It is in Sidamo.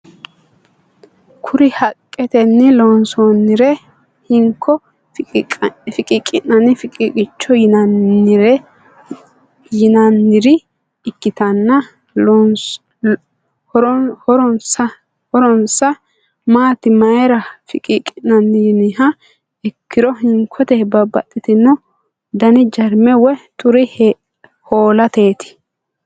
Kuri haqqetenni loonsannire hinko fiqiqi'nanni fiqiiqicho yinaannire ikkitanna horonsa maati mayira fiqiqi'nanni yiniha ikkiro hinkote babaxitinno dani jarme woy xure hoo'lateti.